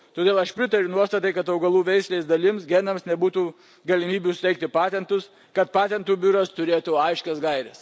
Todėl aš pritariu nuostatai, kad augalų veislės dalims, genams nebūtų galimybių suteikti patentus, kad patentų biuras turėtų aiškias gaires.